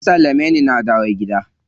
An sallame ni na dawo gida.